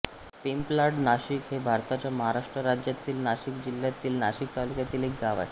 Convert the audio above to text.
पिंपलाड नाशिक हे भारताच्या महाराष्ट्र राज्यातील नाशिक जिल्ह्यातील नाशिक तालुक्यातील एक गाव आहे